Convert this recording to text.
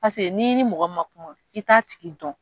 n'i ni mɔgɔ ma kuma i t'a tigi dɔn